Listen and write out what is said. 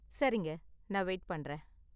சரிங்க. நான் வெயிட் பண்றேன்.